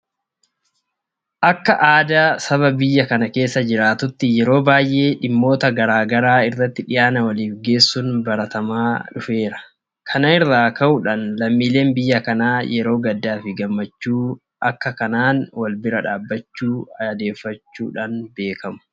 Akka aadaa saba biyya kana keessa jitaatuutti yeroo baay'ee dhimmoota garaa garaa irratti dhiyaana waliif geessuun baratamaa ta'eera. Kana irraa ka'uudhaan lammiileen biyya kanaa yeroo gaddaafi gammachuu haaka kanaan walbira dhaabbachuu aadeffachuudhaan beekamu.